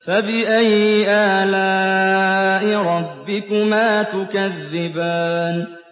فَبِأَيِّ آلَاءِ رَبِّكُمَا تُكَذِّبَانِ